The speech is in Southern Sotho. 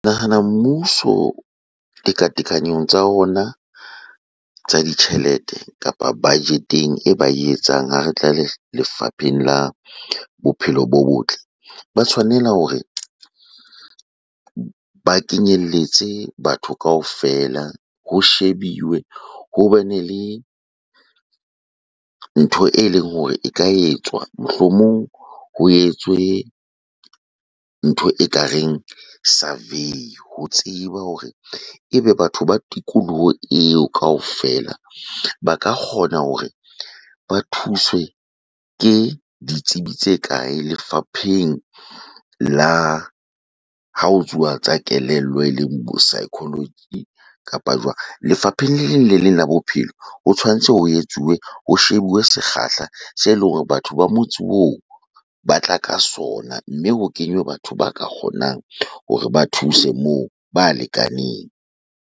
Nahana mmuso tekatekanyong tsa ona tsa ditjhelete kapa budget-eng e ba e etsang ha re tla lefapheng la bophelo bo botle. Ba tshwanela hore ba kenyelletse batho kaofela ho shebiwe, hobe nele ntho eleng hore e ka etswa, mohlomong ho etswe ntho ekareng survey. Ho tseba hore ebe batho ba tikoloho eo kaofela ba ka kgona hore ba thuswe ke ditsebi tse kae lefapheng la ha ho tsa kelello eleng bo kapa jwang. Lefapheng le leng le leng la bophelo ho tshwantse ho etsuwe, ho shebuwe sekgahla se leng batho ba motse oo ba tla ka sona, mme ho kenywe batho ba ka kgonang hore ba thuse moo ba lekaneng.